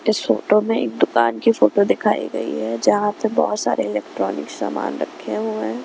इस फोटो में एक दुकान की फोटो दिखाई गई है जहां पे बहुत सारे इलेक्ट्रॉनिक सामान रखे हुए हैं।